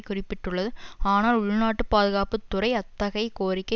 குறிப்பிட்டுள்ளது ஆனால் உள்நாட்டு பாதுகாப்பு துறை அத்தகைய கோரிக்கை